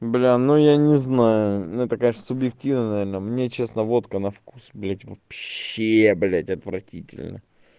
бля ну я не знаю ну это конечно субъективное наверно мне честно водка на вкус блять вообще блять отвратительна